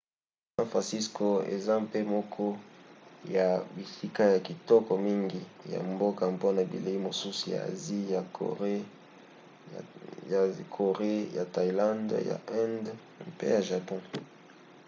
san francisco eza mpe moko ya bisika ya kitoko mingi ya mboka mpona bilei mosusu ya asie: ya corée ya thaïlande ya inde mpe ya japon